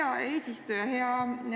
Hea eesistuja!